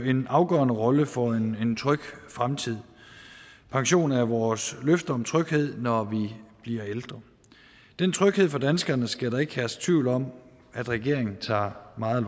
en afgørende rolle for en tryg fremtid pension er vores løfte om tryghed når vi bliver ældre den tryghed for danskerne skal der ikke herske tvivl om regeringen tager meget